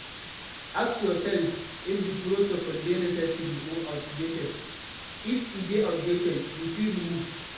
Ask yourself if di protocol dey necessary or outdated, if e dey outdated you fit remove